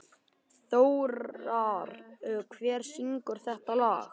Þórar, hver syngur þetta lag?